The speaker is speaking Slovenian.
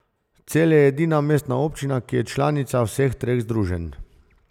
Celje je edina mestna občina, ki je članica vseh treh združenj.